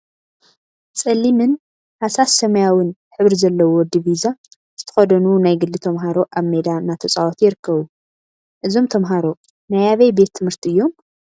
ፀሊምን ሃሳስ ሰማያዊን ሕብሪ ዘለዎ ዲቪዛ ዝተከደኑ ናይ ግሊ ተምሃሮ አብ ሜዳ እናተፃወቱ ይርከቡ፡፡ እዞም ተምሃሮ ናይ አበይ ቤት ትምህርቲ እዮም?